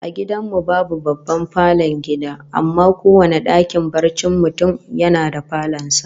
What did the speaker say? A gidan mu babu babban falon gida, amma kowane dakin barcin mutum yana da falon sa